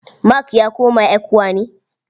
Mark ya koma ECWA ne?